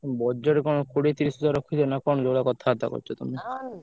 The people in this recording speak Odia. Budget କଣ କୋଡିଏ ତିରିଶି ହଜାର ରଖିଛ ନା କଣ ଯୋଉ ଭଳିଆ କଥାବାର୍ତ୍ତା କରୁଛ ତମେ?